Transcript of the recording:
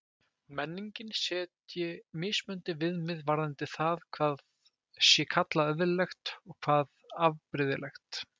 Menningin setji mismunandi viðmið varðandi það hvað sé kallað eðlilegt og hvað afbrigðilegt.